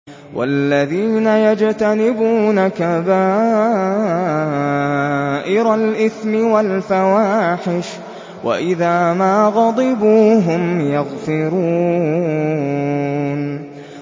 وَالَّذِينَ يَجْتَنِبُونَ كَبَائِرَ الْإِثْمِ وَالْفَوَاحِشَ وَإِذَا مَا غَضِبُوا هُمْ يَغْفِرُونَ